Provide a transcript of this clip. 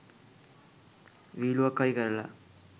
විහිළුවක් හරි කරලා